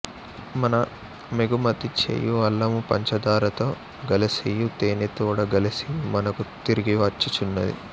మనమెగుమతి చేయు అల్లము పంచ దారతో గలసియు తేనెతోడ గలసియు మనకు తిరిగి వచ్చు చున్నది